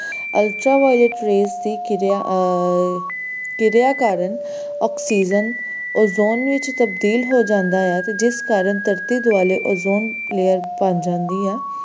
Ultraviolet rays ਦੀ ਕਿਰਿਆ ਅਹ ਕਿਰਿਆ ਕਾਰਣ, oxygen ozone ਵਿਚ ਤਬਦੀਲ ਹੋ ਜਾਂਦਾ ਆ ਤੇ ਜਿਸ ਕਾਰਣ ਧਰਤੀ ਦੁਆਲੇ ozone layer ਬਣ ਜਾਂਦੀ ਐ